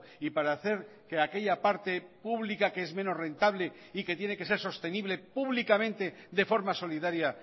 y para hacer que aquella parte pública que es menos rentable y que tiene que ser sostenible públicamente de forma solidaria